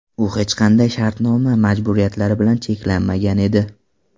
U hech qanday shartnoma majburiyatlari bilan cheklanmagan edi.